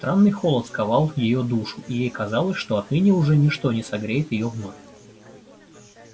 странный холод сковал её душу и ей казалось что отныне уже ничто не согреет её вновь